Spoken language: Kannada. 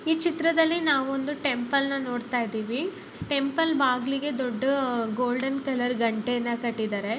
ಈ ಚಿತ್ರದಲ್ಲಿ ನಾವ್ ಒಂದು ಟೆಂಪಲ್ ನ ನೋಡತಾ ಇದಿವಿ ಟೆಂಪಲ್ ಬಾಗ್ಲಿಗೆ ದೊಡ್ಡು ಗೋಲ್ಡನ್ ಕಲರ್ ಗಂಟೆನ ಕಟ್ಟಿದಾರೆ.